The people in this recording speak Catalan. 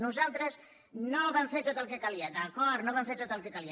nosaltres no vam fer tot el que calia d’acord no vam fer tot el que calia